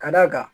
Ka d'a kan